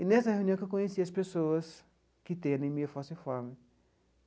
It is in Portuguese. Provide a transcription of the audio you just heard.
E nessa reunião que eu conheci as pessoas que têm anemia falciforme.